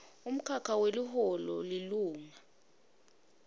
umkhakha weliholo lilunga